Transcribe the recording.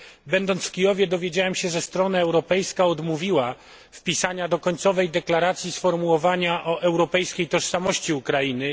Będąc w Kijowie, dowiedziałem się, że strona europejska odmówiła wpisania do końcowej deklaracji sformułowania o europejskiej tożsamości Ukrainy.